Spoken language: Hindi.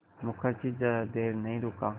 मुखर्जी ज़्यादा देर नहीं रुका